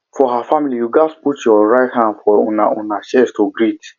for her familyyou gats put your right hand for una una chest to greet